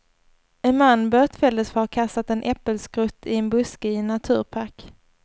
En man bötfälldes för att ha kastat en äppelskrott i en buske i en naturpark.